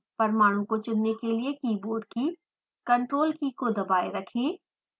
परमाणु को चुनने के लिए कीबोर्ड की ctrl कीkey को दबाएँ रखें